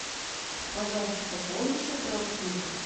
пожалуйста пополни счет родственника